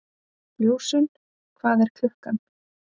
Ljósunn, hvað er klukkan?